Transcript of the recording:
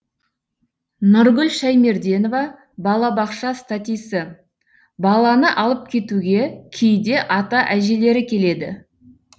нұргүл шәймерденова балабақша статисі баланы алып кетуге кейде ата әжелері келеді